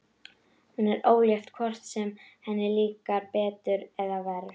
Hún er ólétt hvort sem henni líkar betur eða verr.